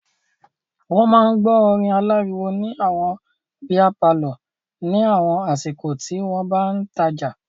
Wọ́n máa ń gbọ́ orin aláriwo ní àwọn bíá palọ̀ ní àwọn àsìkò tí wọ́n bá ń tajà.